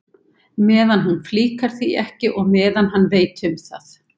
Meðan hún flíkar því ekki og meðan hann veit um það.